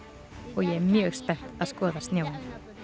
og ég er mjög spennt að skoða snjóinn